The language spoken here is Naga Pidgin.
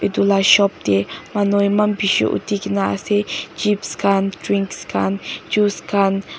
etu lah shop teh manu eman bishi uthi ke na ase chips khan drinks khan juice khan.